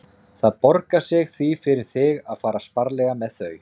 Það borgar sig því fyrir þig að fara sparlega með þau.